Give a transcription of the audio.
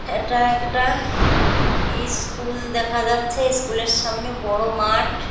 এটা একটা ইস্কুল দেখা যাচ্ছে। স্কুল -এর সামনে বড়ো মাঠ।